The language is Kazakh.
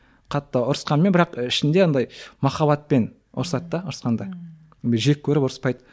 қатты ұрысқанмен бірақ ішінде андай махаббатпен ұрсады да ұрысқанда жек көріп ұрыспайды